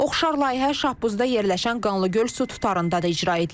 Oxşar layihə Şahbuzda yerləşən Qanlıgöl su tutarında da icra edilib.